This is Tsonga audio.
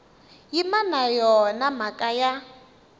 yimi na yona mhaka ya